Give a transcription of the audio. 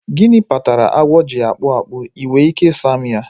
Gịnị kpatara agwọ ji akpụ akpụ? Ị nwere ike ị sa m ya?